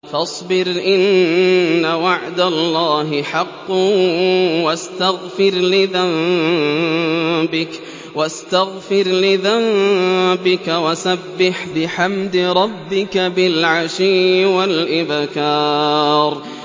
فَاصْبِرْ إِنَّ وَعْدَ اللَّهِ حَقٌّ وَاسْتَغْفِرْ لِذَنبِكَ وَسَبِّحْ بِحَمْدِ رَبِّكَ بِالْعَشِيِّ وَالْإِبْكَارِ